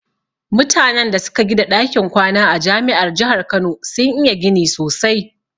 Mutanan da suka gida ɗakin kwana a jami'ar jahar kano sun iya gini sosai